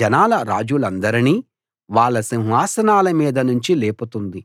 జనాల రాజులందరినీ వాళ్ళ సింహాసనాల మీద నుంచి లేపుతోంది